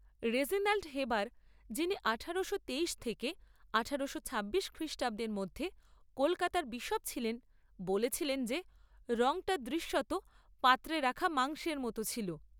Reginald Heber, যিনি আঠারোশো তেইশ থেকে আঠারোশো ছাব্বিশ খ্রিষ্টাব্দের মধ্যে কলকাতার বিশপ ছিলেন, বলেছিলেন যে রঙটা দৃশ্যত পাত্রে রাখা মাংসের মতো ছিল।